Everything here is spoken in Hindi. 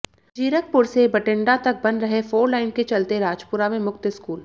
जीरकपुर से बठिण्डा तक बन रहे फोरलाइन के चलते राजपुरा में मुक्त स्कूल